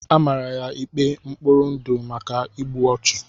Amara ya ikpe mkpọrọ ndụ maka igbu ọchụ.